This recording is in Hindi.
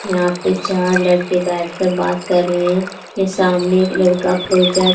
यहां पे चार लड़के बैठकर बात कर रहे हैं कि सामने एक लड़का प्रोजेक्ट --